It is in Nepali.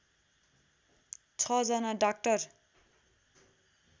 छ जना डाक्टर